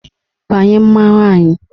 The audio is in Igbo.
Banye mmanwụ anyị!